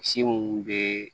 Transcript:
Si minnu bɛ